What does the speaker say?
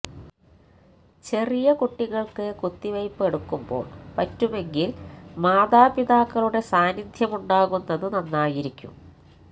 ചെറിയ കുട്ടികൾക്ക് കുത്തിവെപ്പ് എടുക്കുമ്പോൾ പറ്റുമെങ്കിൽ മാതാപിതാക്കളുടെ സാന്നിധ്യമുണ്ടാകുന്നത് നന്നായിരിക്കും